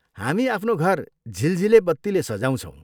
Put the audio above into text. हामी आफ्नो घर झिलझिले बत्तीले सजाउँछौँ।